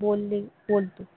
बोलणी बोलतो